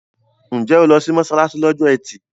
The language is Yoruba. Ǹjẹ́ o lọ sí mọ́ṣáláṣí lọ́jọ́ ẹtì?